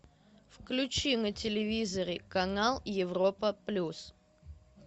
включи на телевизоре канал европа плюс